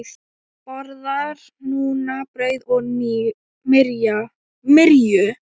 Borðar núna brauð og myrju.